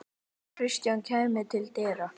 Kjartan kæmi til dyra.